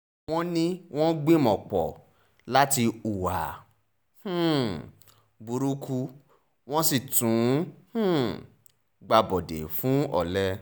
wọ́n ní wọ́n gbìmọ̀-pọ̀ láti hùwà um burúkú wọ́n sì tún um gbàbọ̀dè fún olè